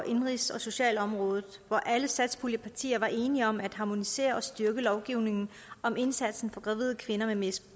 indenrigs og socialområdet hvor alle satspuljepartier var enige om at harmonisere og styrke lovgivningen om indsatsen for gravide kvinder med et